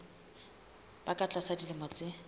ba ka tlasa dilemo tse